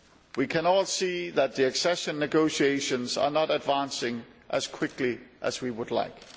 We can all see that the accession negotiations are not advancing as quickly as we would like.